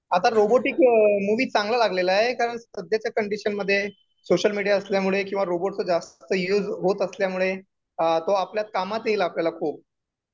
आता robotic movie चांगला लागलेला आहे कारण सध्या च्या कंडिशन मध्ये सोशल मीडिया असल्यामुळे किंवा रोबोट कह जास्त युज होत असल्यामुळे तो आपल्या कामात येईल आपल्याला खूप